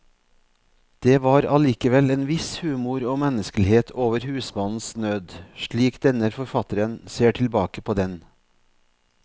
Det var allikevel en viss humor og menneskelighet over husmannens nød, slik denne forfatteren ser tilbake på den.